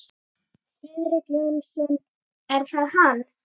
Friðrik Jónsson, er það hann?